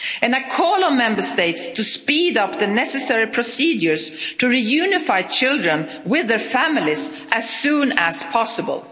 States. I call on Member States to speed up the necessary procedures to reunify children with their families as soon as possible.